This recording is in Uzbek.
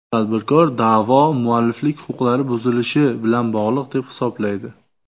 Tadbirkor da’vo mualliflik huquqlari buzilishi bilan bog‘liq deb hisoblaydi.